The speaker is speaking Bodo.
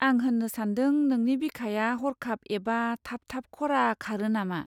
आं होन्नो सानदों, नोंनि बिखाया हरखाब एबा थाब थाब खरा खारो नामा?